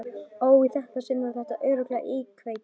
Og í þetta sinn var þetta örugglega íkveikja.